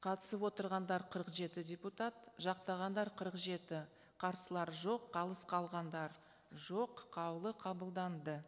қатысып отырғандар қырық жеті депутат жақтағандар қырық жеті қарсылар жоқ қалыс қалғандар жоқ қаулы қабылданды